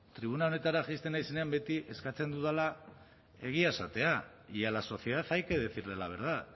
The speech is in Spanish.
tribuna honetara jaisten naizenean beti eskatzen dudala egia esatea y a la sociedad hay que decirle la verdad